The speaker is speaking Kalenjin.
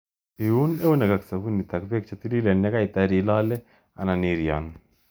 Iun eunek ak sabunit ak bek chetililen yekaitar ilolei anan iryon.